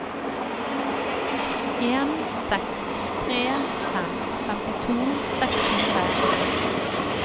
en seks tre fem femtito seks hundre og fem